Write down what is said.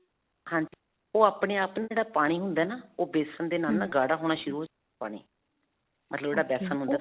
ਹਾਂਜੀ. ਉਹ ਆਪਣੇ ਆਪ ਨਾ ਜਿਹੜਾ ਪਾਣੀ ਹੁੰਦਾ ਹੈ ਨਾ ਉਹ ਬੇਸਨ ਦੇ ਨਾਲ ਨਾ ਗਾੜਾ ਹੋਣਾ ਸ਼ੁਰੂ ਹੋ ਪਾਣੀ. ਮਤਲਬ ਜਿਹੜਾ ਬੇਸਨ ਹੁੰਦਾ